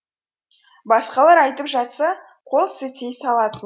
басқалар айтып жатса қол сілтей салатын